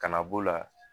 Kana b'o la